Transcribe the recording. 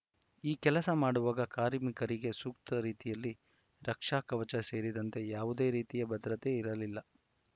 ಈ ಕೆಲಸ ಮಾಡುವಾಗ ಕಾರ್ಮಿಕರಿಗೆ ಸೂಕ್ತ ರೀತಿಯಲ್ಲಿ ರಕ್ಷಾ ಕವಚ ಸೇರಿದಂತೆ ಯಾವುದೇ ರೀತಿಯ ಭದ್ರತೆ ಇರಲಿಲ್ಲ